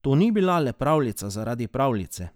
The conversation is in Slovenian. To ni bila le pravljica zaradi pravljice.